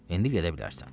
İndi gedə bilərsən.